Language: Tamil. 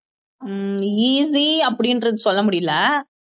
ஹம் easy அப்படின்றது சொல்ல முடியலை